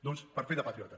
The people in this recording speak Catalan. doncs per fer de patriota